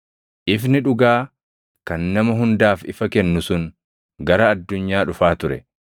Ifni dhugaa kan nama hundaaf ifa kennu sun gara addunyaa dhufaa ture.